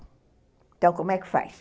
Então, como é que faz?